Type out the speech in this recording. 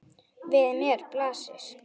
Við mér blasir.